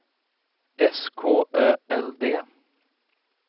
S K Ö L D